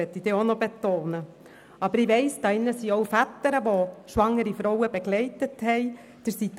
Aber hier im Saal befinden sich auch Väter, die schwangere Frauen begleitet haben.